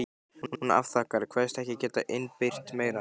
Hún afþakkar, kveðst ekki geta innbyrt meira.